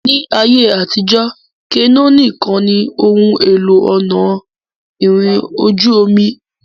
Ni ayé àtijọ́, kenó nìkan ni ohun èlò ọ̀nà ìrìn ojú-omi